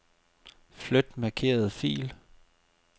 Flyt markerede fil.